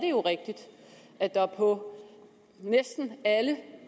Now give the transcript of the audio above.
er rigtigt at der på næsten alle